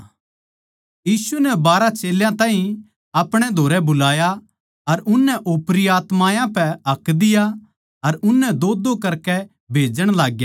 यीशु नै बारहां चेल्यां ताहीं आपणे धोरै बुलाया अर उननै ओपरी आत्मायाँ पै हक दिया अर उननै दोदो करकै भेजण लागग्या